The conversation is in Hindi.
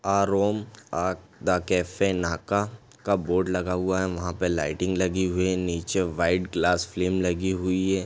Uh Rome uh the cafe नाका का बोर्ड लगा हुआ है वहा पे लाइटिंग लगी हुई है नीचे व्हाइट ग्लास फ्रेम लगी हुई है।